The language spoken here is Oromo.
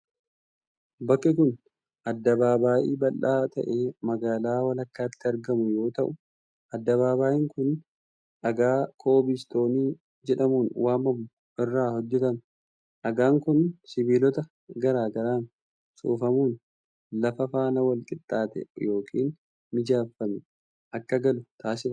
Bakki kun, addabaabaayii bal'aa ta'e magaalaa walakkaatti argamu yoo ta'u, addabaabaayiin kun dhagaa koobil istoonii jedhamuun waamamu irraa hojjatame. Dhagaan kun sibiilota garaa garaan soofamuun lafa faana walqixxaatee yokin mijeeffamee akka galu taasifama.